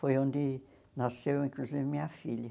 Foi onde nasceu, inclusive, minha filha.